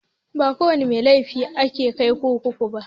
Ba kowana mai laifi ake kai kurkuku ba.